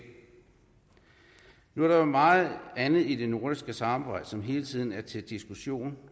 nu er der jo meget andet i det nordiske samarbejde som hele tiden er til diskussion